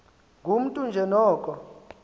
ngumntu nje noko